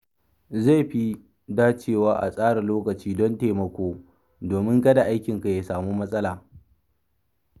Zai fi dacewa a tsara lokaci don taimako domin kada aikinka ya samu matsala.